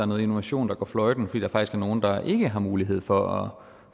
noget innovation der går fløjten fordi der faktisk er nogle der ikke har mulighed for